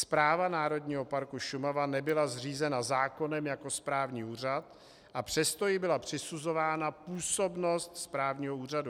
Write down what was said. Správa Národního parku Šumava nebyla zřízena zákonem jako správní úřad, a přesto jí byla přisuzována působnost správního úřadu.